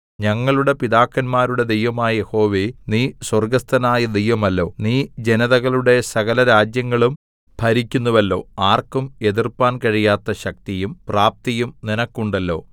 ഞങ്ങളുടെ പിതാക്കന്മാരുടെ ദൈവമായ യഹോവേ നീ സ്വർഗ്ഗസ്ഥനായ ദൈവമല്ലോ നീ ജനതകളുടെ സകലരാജ്യങ്ങളും ഭരിക്കുന്നുവല്ലോ ആർക്കും എതിർപ്പാൻ കഴിയാത്ത ശക്തിയും പ്രാപ്തിയും നിനക്കുണ്ടല്ലോ